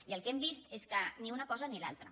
i el que hem vist és que ni una cosa ni l’altra